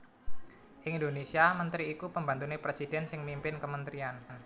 Ing Indonésia mentri iku pembantu presidhèn sing mimpin kementrian